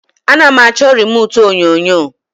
A na m achọ remute onyonyo